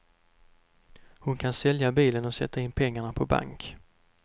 Hon kan sälja bilen och sätta in pengarna på bank.